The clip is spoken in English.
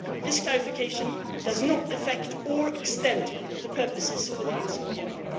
This clarification does not affect or extend the purposes for the use of PNR.